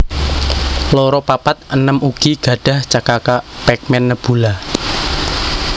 loro papat enem ugi gadhah cekaka Pac man Nebula